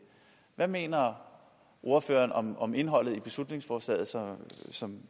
hvad mener ordføreren om indholdet i beslutningsforslaget som